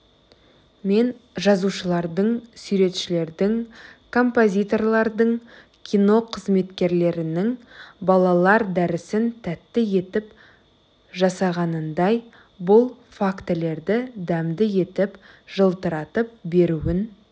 мен жазушылардың суретшілердің композиторлардың кино қызметкерлерінің балалар дәрісін тәтті етіп жасағанындай бұл фактілерді дәмді етіп жылтыратып беруін